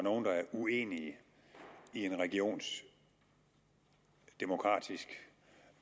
uenige i en regions demokratisk